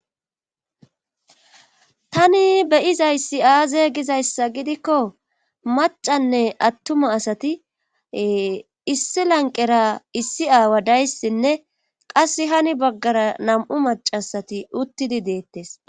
tani beyizayssi aaze gizayssa gidikko macanne attuma asati issi lanqera issi aawa dayssinne qass hani baggara nam7u macasati uttidi deettes